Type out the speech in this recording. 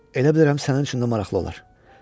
Elə bilirəm sənin üçün də maraqlı olar.